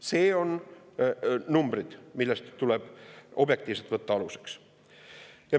Need on numbrid, mis tuleb objektiivselt aluseks võtta.